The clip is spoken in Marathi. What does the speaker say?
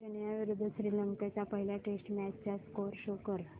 केनया विरुद्ध श्रीलंका च्या पहिल्या टेस्ट मॅच चा स्कोअर शो कर